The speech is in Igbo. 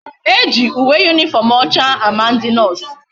Eji uwe uniform ocha a ma ndi nurse